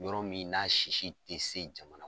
Yɔrɔ min n'a sisi ti se jamana